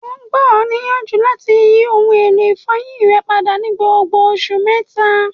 O gba ọ niyanju lati yi oun elo ifọyin rẹ pada ni gbogbo oṣu mẹta.